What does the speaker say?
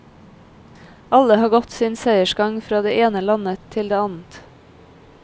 Alle har gått sin seiersgang fra det ene landet til det annet.